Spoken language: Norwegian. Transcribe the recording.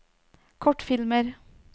kortfilmer